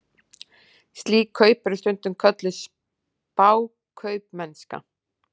Slík kaup eru stundum kölluð spákaupmennska.